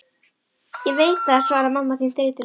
Veit ég það, svaraði mamma þín þreytulega.